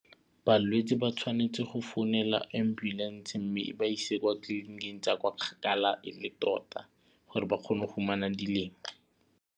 Balwetse ba tshwanetse go founela ambulance mme e ba ise kwa tleliniking tsa kwa kgakala e le tota gore ba kgone go fumana .